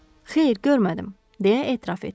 Xeyr, görmədim, deyə etiraf etdi.